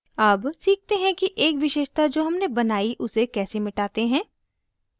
अब सीखते हैं कि एक विशेषता जो हमने बनाई उसे कैसे मिटाते हैं